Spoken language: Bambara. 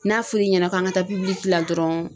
N'a fɔr'i ɲɛna k'an ka taa dɔrɔn